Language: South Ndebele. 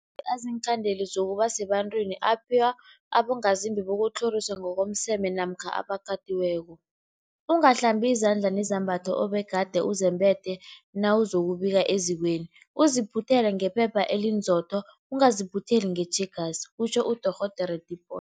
Amapilisi aziinkhandeli zokuba sebantwini aphiwa abongazimbi bokutlhoriswa ngokomseme namkha abakatiweko. Ungahlambi izandla nezembatho obegade uzembethe nawuzokubika ezikweni, uziphuthele ngephepha elinzotho, ungaziphutheli ngetjhegasi kutjho uDorh Tipoy.